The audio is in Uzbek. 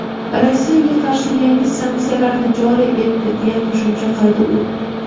Rossiyaga qarshi yangi sanksiyalarni joriy etdi deya qo‘shimcha qildi u.